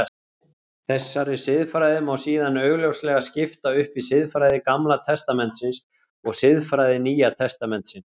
Þessari siðfræði má síðan augljóslega skipta upp í siðfræði Gamla testamentisins og siðfræði Nýja testamentisins.